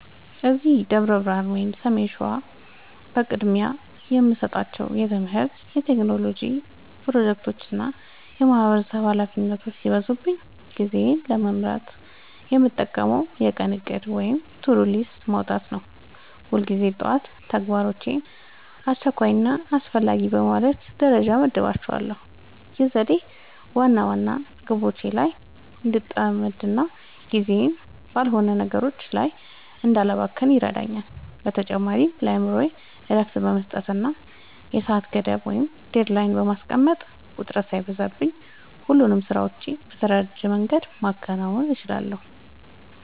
እዚህ ደብረ ብርሃን (ሰሜን ሸዋ) በቅድሚያ የምሰጣቸው የትምህርት፣ የቴክኖሎጂ ፕሮጀክቶችና የማህበረሰብ ኃላፊነቶች ሲበዙብኝ ጊዜዬን ለመምራት የምጠቀመው የቀን እቅድ (To-Do List) ማውጣትን ነው። ሁልጊዜ ጠዋት ተግባራቶቼን አስቸኳይና አስፈላጊ በማለት ደረጃ እመድባቸዋለሁ። ይህ ዘዴ ዋና ዋና ግቦቼ ላይ እንድጠመድና ጊዜዬን ባልሆኑ ነገሮች ላይ እንዳላባክን ይረዳኛል። በተጨማሪም ለአእምሮዬ እረፍት በመስጠትና የሰዓት ገደብ (Deadline) በማስቀመጥ፣ ውጥረት ሳይበዛብኝ ሁሉንም ስራዎቼን በተደራጀ መንገድ ማከናወን እችላለሁ።